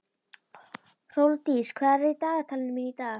Hrólfdís, hvað er í dagatalinu mínu í dag?